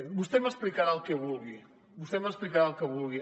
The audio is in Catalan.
vostè m’explicarà el que vulgui vostè m’explicarà el que vulgui